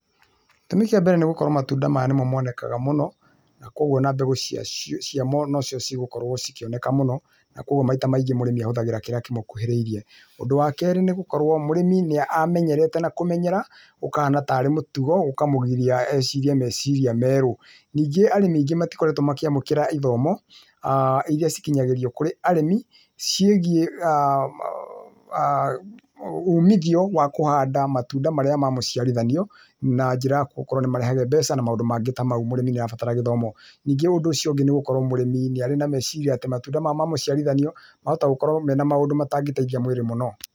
Gĩtũmi kĩa mbere nĩgũkorwo matunda maya nĩmo monekaga mũno na kwoguo ona mbegũ ciamo nocio cĩgũkorwo ikĩoneka mũno na kwoguo maita maingĩ mũrĩmi ahũthiraga kĩrĩa kĩmũkũhĩrĩirie, ũndũ wa kerĩ nĩgũkorwo mũrĩmi nĩamenyerete na kũmenyera ũkahana tarĩ mũtugo ũkamũgiria ecirie meciria merũ, ningĩ arĩmi aingĩ matikoretwe makĩamũkĩra ithomo[uuh] iria cikinyanĩirwo kũrĩ arĩmi cĩgie[uuh]umithio wa kũhanda matunda marĩa ma mũciarithanio na njĩra ya gũkorwo nĩmarehaga mbeca na maũndũ maingĩ ta mau mũrĩmĩ nĩarabatara gĩthomo, nĩngĩ ũndũ ũcio ũngĩ nĩ gũkorwo mũrĩmi nĩarĩ na meciria atĩ matunda maya ma mũciarithanio mahota gũkorwo na maũndũ marĩa matangĩteithia mwĩrĩ mũno.